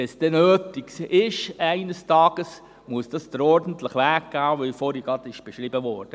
Sollte es eines Tages nötig sein, muss ein solches Vorhaben den ordentlichen Weg gehen, welcher vorhin beschrieben wurde.